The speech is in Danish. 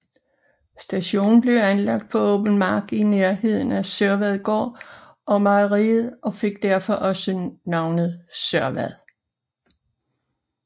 Stationen blev anlagt på åben mark i nærheden af Sørvadgård og mejeriet og fik derfor også navnet Sørvad